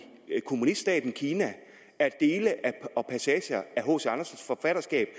kommuniststaten kina er dele og passager af hc andersens forfatterskab